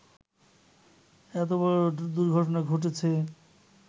এত বড় দুর্ঘটনা ঘটেছে